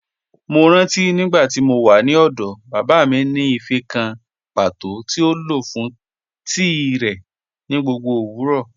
Mọ́ rántí nígbàtí mó wà ní ọ̀dọ̀, baba mi ni ífẹ́̀ kàn pátọ̀ tí o lọ fún tií rẹ ni gbogbo owurọ.